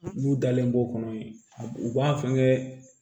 N'u dalen b'o kɔnɔ yen a b'u u b'a fɛnkɛ